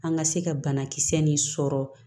An ka se ka banakisɛ nin sɔrɔ